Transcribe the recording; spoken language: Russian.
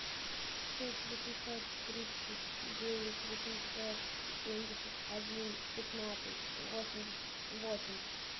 шесть восемьсот тридцать девять восемьсот семьдесят один пятнадцать восемьдесят восемь